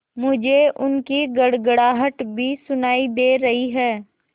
मुझे उनकी गड़गड़ाहट भी सुनाई दे रही है